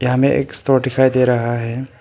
यहां में एक स्टोर दिखाई दे रहा है।